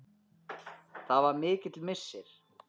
Það var mikill missir.